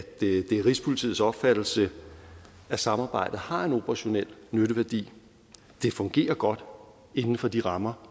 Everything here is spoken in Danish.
det er rigspolitiets opfattelse at samarbejdet har en operationel nytteværdi det fungerer godt inden for de rammer